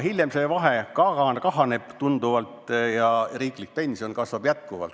Hiljem see vahe kahaneb tunduvalt ja riiklik pension kasvab.